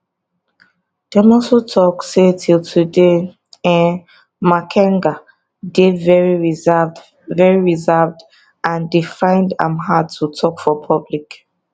dem also tok say till today um makenga dey very reserved very reserved and dey find am hard to tok for public